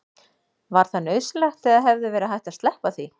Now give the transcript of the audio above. var það nauðsynlegt eða hefði verið hægt að sleppa því